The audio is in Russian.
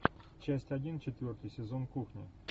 часть один четвертый сезон кухня